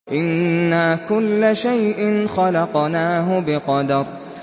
إِنَّا كُلَّ شَيْءٍ خَلَقْنَاهُ بِقَدَرٍ